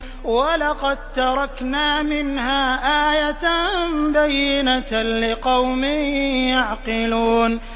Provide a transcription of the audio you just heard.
وَلَقَد تَّرَكْنَا مِنْهَا آيَةً بَيِّنَةً لِّقَوْمٍ يَعْقِلُونَ